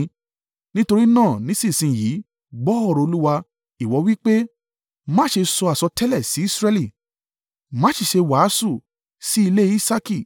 Nítorí náà nísinsin yìí, gbọ́ ọ̀rọ̀ Olúwa. Ìwọ wí pé, “ ‘Má ṣe sọ àsọtẹ́lẹ̀ sí Israẹli, má sì ṣe wàásù sí ilé Isaaki.’